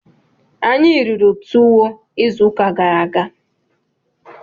Anyị riri tuwo izu ụka gara aga.